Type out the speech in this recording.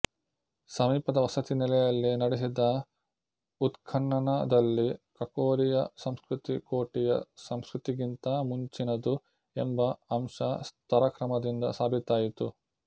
ಸಮೀಪದ ವಸತಿನೆಲೆಯಲ್ಲಿ ನಡೆಸಿದ ಉತ್ಖನನದಲ್ಲಿ ಕಕೋರಿಯ ಸಂಸ್ಕೃತಿ ಕೋಟಿಯ ಸಂಸ್ಕೃತಿಗಿಂತ ಮುಂಚಿನದು ಎಂಬ ಅಂಶ ಸ್ತರಕ್ರಮದಿಂದ ಸಾಬೀತಾಯಿತು